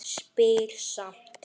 Spyr samt.